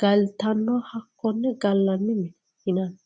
galitanoha hakone galanni mineti yinanni